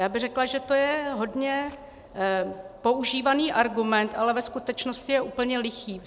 Já bych řekla, že to je hodně používaný argument, ale ve skutečnosti je úplně lichý.